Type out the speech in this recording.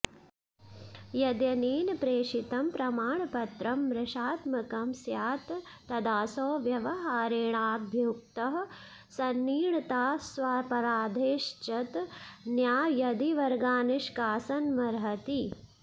यद्यनेन प्रेषितं प्रमाणपत्रं मृषात्मकं स्यात् तदासौ व्यवहारेणाभियुक्तः सन्निर्णीतस्वापराधश्चेत् न्यायदिवर्गान्निष्कासनमर्हति